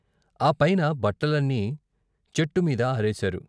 ఆ పైన బట్టలన్నీ చెట్టుమీద ఆరేశారు.